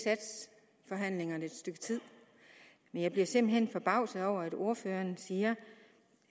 stykke tid jeg bliver simpelt hen forbavset over at ordføreren siger